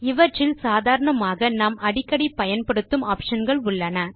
இவற்றில் சாதாரணமாக நாம் அடிக்கடி பயன்படுத்தும் ஆப்ஷன் கள் உள்ளன